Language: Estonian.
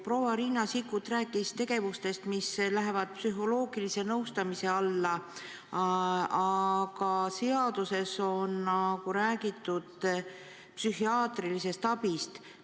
Proua Riina Sikkut rääkis tegevustest, mis lähevad psühholoogilise nõustamise alla, aga seaduses on räägitud psühhiaatrilisest abist.